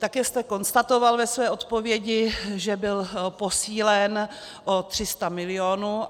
Také jste konstatoval ve své odpovědi, že byl posílen o 300 milionů.